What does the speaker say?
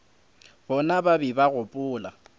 bona ba be ba gopola